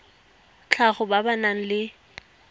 tlhago ba ba nang le